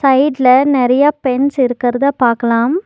சைட்ல நெறையா பென்ஸ் இருக்கற்தா பாக்கலாம்.